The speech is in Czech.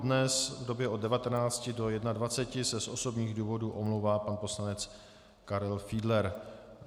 Dnes v době od 19 do 21 se z osobních důvodů omlouvá pan poslanec Karel Fiedler.